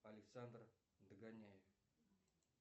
александр догоняев